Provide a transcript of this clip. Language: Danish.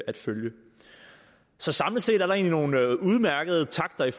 at følge så samlet set er der egentlig nogle udmærkede takter i